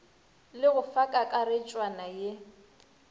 le go fa kakaretšwana ye